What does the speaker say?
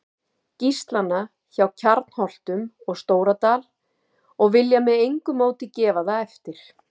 Gíslana frá Kjarnholtum og Stóradal og vilja með engu móti gefa það eftir.